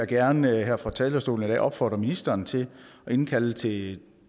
gerne her fra talerstolen i dag opfordre ministeren til at indkalde til